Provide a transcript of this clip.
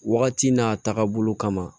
Wagati n'a taagabolo kama